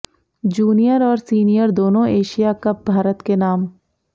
junior और senior दोनों Asia Cup Bharat के नाम